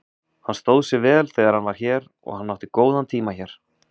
Hann stóð sig vel þegar hann var hér og hann átti góðan tíma hér.